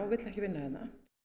vill ekki vinna hérna